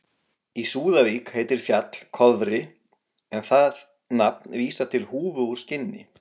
Í Súðavík heitir fjall Kofri en það nafn vísar til húfu úr skinni.